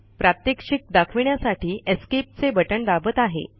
प्रात्यक्षिक दाखवण्यासाठी ESC escape चे बटण दाबत आहे